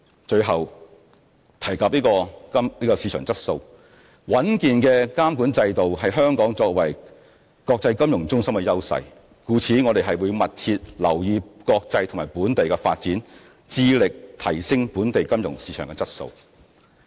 最後，提到市場質素，穩健的監管制度是香港作為國際金融中心的優勢，故此我們會密切留意國際和本地的發展，致力提升本地金融市場的質素。